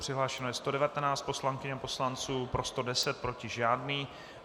Přihlášeno je 119 poslankyň a poslanců, pro 110, proti žádný.